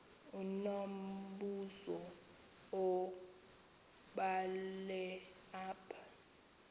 unombuzo wubhale apha